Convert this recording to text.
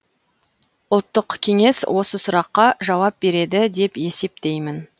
ұлттық кеңес осы сұраққа жауап береді деп есептеймін